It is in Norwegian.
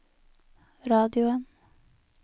radioen